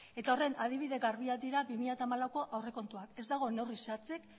eta horren adibide garbiak dira bi mila hamalauko aurrekontuak ez dago neurri zehatzik